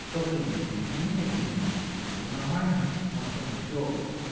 что принято извинения приняты или что всё нормально у нас с тобой всё